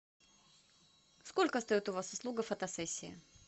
сколько стоит у вас услуга фотосессии